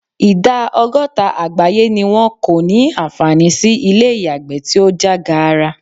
Ìdá ọgọ́ta àgbáyé ni wọn kò ní àǹfààní sí ilé ìyàgbẹ́ tí ó já gaara.